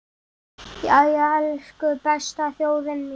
Jæja, elsku besta þjóðin mín!